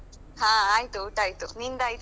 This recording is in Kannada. ಹಾ ಆಯ್ತು ಊಟ ಆಯ್ತು. ನಿಂದಾಯ್ತಾ?